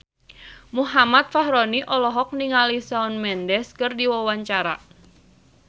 Muhammad Fachroni olohok ningali Shawn Mendes keur diwawancara